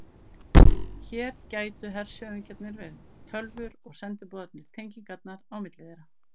Hér gætu hershöfðingjarnir verið tölvur og sendiboðarnir tengingarnar á milli þeirra.